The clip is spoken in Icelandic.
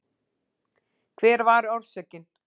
Hver var orsökin?